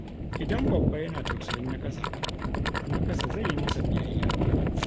Idan babba yana tausayin na ƙasa, to na ƙasa zai yi masa biyayya.